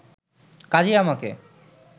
কাজেই আমাকে